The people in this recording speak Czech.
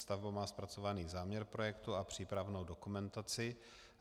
Stavba má zpracovaný záměr projektu a přípravnou dokumentaci.